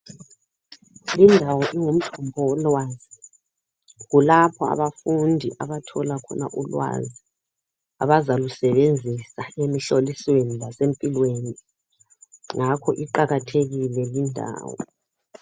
Lindawo ingumgodiwolwazi kulapha abafundi abathola khona ulwazi abazalusebenzisa emihlolisweni lasempilweni ngakho iqakathekile lindawo.